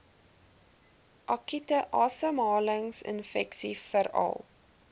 akute asemhalingsinfeksies veral